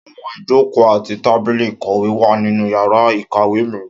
Áwọn ijoko ati tábìlì ìkọ̀wé wa ninu yàrá ìkàwé mi.